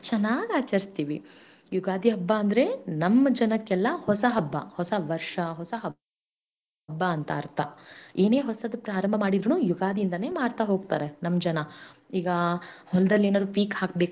ಚನ್ನಾಗಿ ಆಚರಿಸ್ತೇವೆ ಯುಗಾದಿ ಹಬ್ಬಾಅಂದರೆ ನಮ್ಮ ಜನಕೆಲ್ಲಾ ಹೊಸ ಹಬ್ಬ ಹೊಸ ವರ್ಷ, ಹೊಸ ಹಬ್ಬ ಅಂತಾ ಅರ್ಥ ಏನೇ ಹೊಸದ ಪ್ರಾರಂಭ ಮಾಡಿದ್ರು ಯುಗಾದಿ ಇಂದಾನೆ ಮಾಡ್ತಾ ಹೋಗ್ತಾರೆ ನಮ್ಮ ಜನಾ ಈಗಾ ಹೊಲದಲ್ಲಿ ಏನಾದ್ರು ಹಾಕ್ಬೇಕು.